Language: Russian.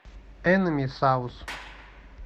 энэмисаус